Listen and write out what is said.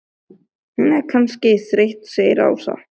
Hún er kannski þreytt segir Ása.